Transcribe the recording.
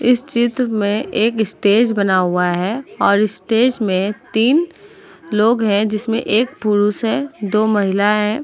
इस चित्र में एक स्टेज बना हुआ है और स्टेज में तीन लोग हैं जिसमें एक पुरुष है दो महिला हैं।